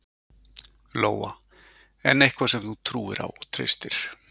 Lóa: En eitthvað sem þú trúir á og treystir?